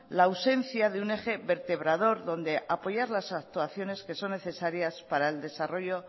la ausencia de un eje vertebrador donde apoyar las actuaciones que son necesarias para el desarrollo